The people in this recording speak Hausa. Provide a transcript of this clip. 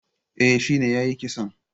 Eh, shine yayi kisan